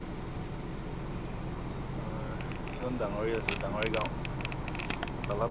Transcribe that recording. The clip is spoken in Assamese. অ সেইখন ডাঙৰীত আছিলে, ডাঙৰী গাওঁ , তলত